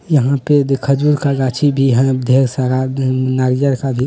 यहाँ पे देखा जो गाछी भी है ढेर सारा नरियर का भी --